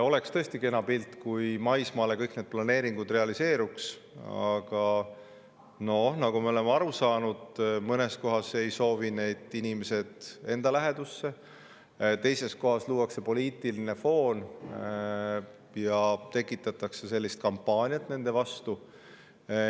Oleks tõesti kena, kui maismaal kõik need planeeringud realiseeruks, aga nagu me oleme aru saanud, mõnes kohas ei soovi neid inimesed enda lähedusse, teises kohas luuakse poliitiline foon ja kampaaniat nende vastu.